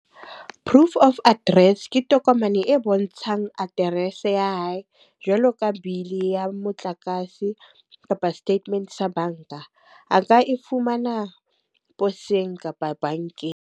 Proof of address ke tokomane e bontshang address ya hae jwalo ka bill ya motlakase, kapa statement sa banka. A ka e fumana poseng kapa bankeng.